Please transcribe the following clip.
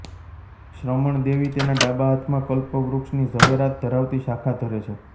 શ્રમણ દેવી તેના ડાબા હાથમાં કલ્પવૃક્ષની ઝવેરાત ધરાવતી શાખા ધરે છે